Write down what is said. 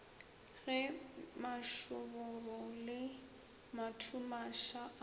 ge mašoboro le mathumaša a